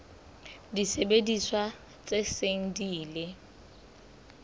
disebediswa tse seng di ile